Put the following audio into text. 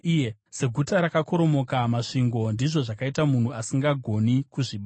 Seguta rakakoromoka masvingo ndizvo zvakaita munhu asingagoni kuzvibata.